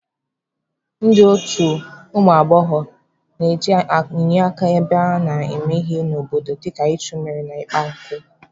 Ndị otu ụmụ agbọghọ na-eje enye aka ebe a na-eme ihe n'obodo dịka ichu mmiri na ịkpa nkụ.